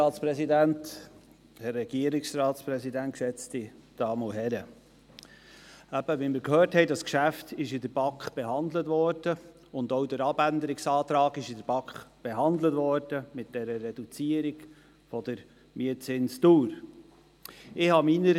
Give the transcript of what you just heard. Wie wir gehört haben, wurden das Geschäft und auch der Abänderungsantrag mit dieser Reduzierung der Mietzinsdauer in der BaK behandelt.